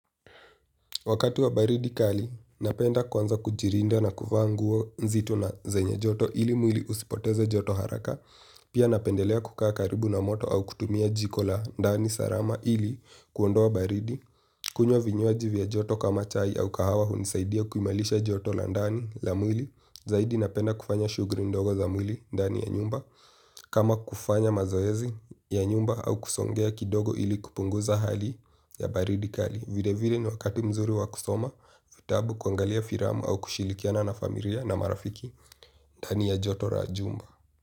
Wakati wa baridi kali, napenda kuanza kujirinda na kuvaa nguo nzito na zenye joto ili mwili usipoteze joto haraka. Pia napendelea kukaa karibu na moto au kutumia jiko la ndani salama ili kuondoa baridi. Kunywa vinywaji vya joto kama chai au kahawa hunisaidia kuimarisha joto la ndani la mwili. Zaidi napenda kufanya shughuli ndogo za mwili ndani ya nyumba. Kama kufanya mazoezi ya nyumba au kusongea kidogo ili kupunguza hali ya baridi kali. Vile vile ni wakati mzuri wa kusoma vitabu kuangalia filamu au kushirikiana na familia na marafiki ndani ya joto la jumba.